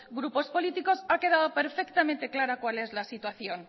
grupos políticos ha quedado perfectamente clara cuál es la situación